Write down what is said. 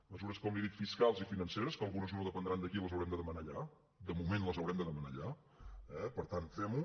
mesures com li he dit fiscals i financeres que algunes no dependran d’aquí les haurem de demanar allà de moment les haurem de demanar allà eh per tant fem ho